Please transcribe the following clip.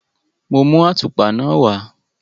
Mo mú àtùpa náà wá.